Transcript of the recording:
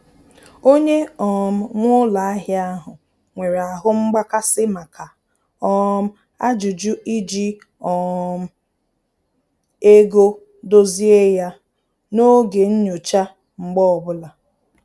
Onye um nwe ụlọ ahịa ahụ nwere ahụ mgbakasị maka um ajụjụ iji um ego dozie ya n'oge nnyocha mgbe ọbụla